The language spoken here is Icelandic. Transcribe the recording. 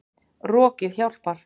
Rokið hjálpar.